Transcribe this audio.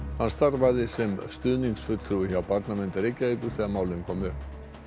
hann starfaði sem stuðningsfulltrúi hjá Barnavernd Reykjavíkur þegar málin komu upp